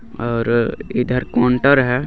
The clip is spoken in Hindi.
और इधर कोंटर है.